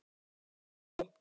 Hvað er á seyði?